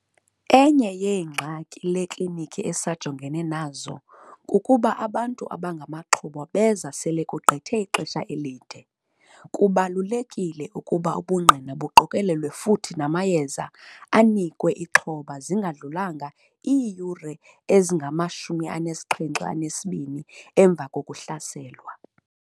Enye yeengxaki le klinikhi esajongene nazo kukuba abantu abangamaxhoba beza apha sele kugqithe ixesha elide - kubalulekile ukuba ubungqina buqokelelwe futhi namayeza anikwe ixhoba zingadlulanga iiyure ezingama-72 emva kokuhlaselwa.